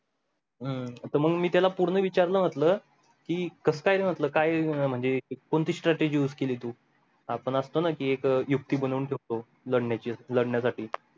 हम्म आता मग मी त्याला पूर्ण विचारला म्हंटलं कि कसा काय र म्हंटल काय म्हणजे कोणती strategy use केली तू आपण आसत ना एक युक्ती बनवून ठेवतो लढण्याची लढण्यासाठी